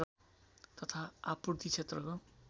तथा आपूर्ति क्षेत्रको